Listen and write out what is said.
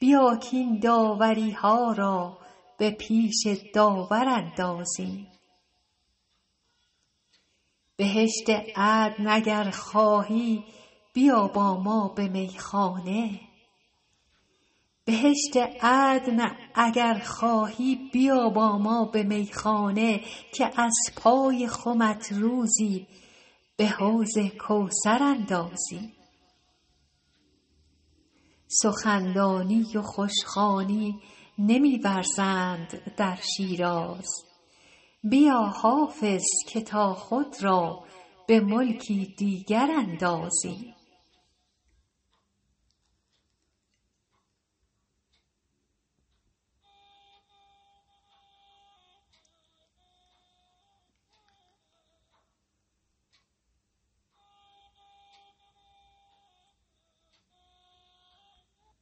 بیا کاین داوری ها را به پیش داور اندازیم بهشت عدن اگر خواهی بیا با ما به میخانه که از پای خمت روزی به حوض کوثر اندازیم سخن دانی و خوش خوانی نمی ورزند در شیراز بیا حافظ که تا خود را به ملکی دیگر اندازیم